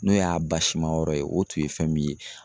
N'o y'a basi ma yɔrɔ ye o tun ye fɛn min ye.